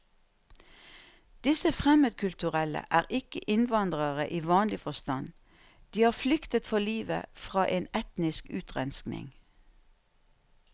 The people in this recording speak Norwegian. Disse fremmedkulturelle er ikke innvandrere i vanlig forstand, de har flyktet for livet fra en etnisk utrenskning.